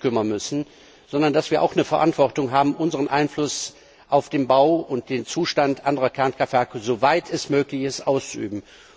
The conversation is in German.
kümmern müssen, sondern dass wir auch eine Verantwortung haben, unseren Einfluss auf den Bau und den Zustand anderer Kernkraftwerke, soweit es möglich ist, auszuüben.